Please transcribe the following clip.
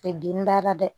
den b'a la dɛ